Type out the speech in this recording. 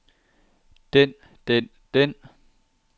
den den den